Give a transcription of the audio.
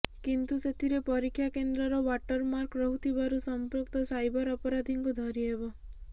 କିନ୍ତୁ ସେଥିରେ ପରୀକ୍ଷା କେନ୍ଦ୍ରର ଓ୍ବାଟର ମାର୍କ ରହୁଥିବାରୁ ସଂପୃକ୍ତ ସାଇବର ଅପରାଧୀଙ୍କୁ ଧରି ହେବ